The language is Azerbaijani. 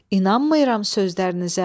İnanmıram sözlərinizə.